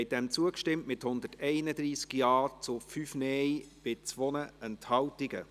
Abstimmung (Art. 15 Abs 1; Antrag GSoK / Regierungsrat)